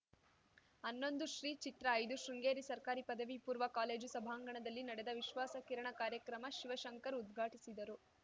ಹನ್ನೊಂದು ಶ್ರೀ ಚಿತ್ರಐದುಶೃಂಗೇರಿ ಸರ್ಕಾರಿ ಪದವಿ ಪೂರ್ವ ಕಾಲೇಜು ಸಭಾಂಗಣದಲ್ಲಿ ನಡೆದ ವಿಶ್ವಾಸ ಕಿರಣ ಕಾರ್ಯಕ್ರಮ ಶಿವಶಂಕರ್ ಉದ್ಘಾಟಿಸಿದರು